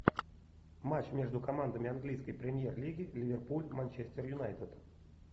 матч между командами английской премьер лиги ливерпуль манчестер юнайтед